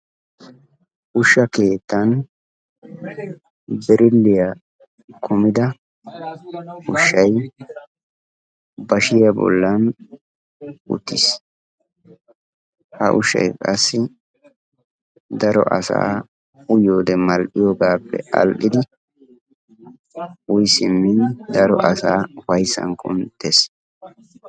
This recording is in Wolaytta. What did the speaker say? ushsha keettan birilliya kummida ushshay bashiya bollan uttis. ha ushay qassi daro asaa mal'iyoogaappe aadhidi uyi simmin ufayssan kuntees.